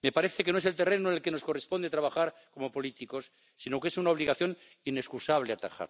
koste gaat van het milieu en van het klimaat. Onze mobiliteit kan alleen toekomstbestendig zijn als deze ook duurzaam